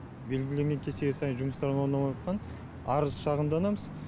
белгіленген кестеге сай жұмыстарын орындамағандықтан арыз шағымданамыз